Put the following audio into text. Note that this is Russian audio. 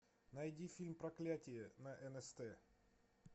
найди фильм проклятие на нст